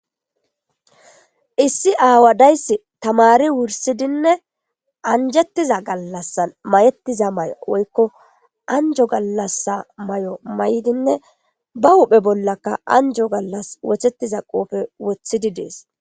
Issi awa de'eyis tamari wurisidinee anjetiza galasan ma'etiza mayo woyiko anjo galasa mayo mayidinee ba huphe bollaka anjo wosetida qophe wosetidi de'es